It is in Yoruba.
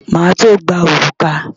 Màá tó gba òrùka.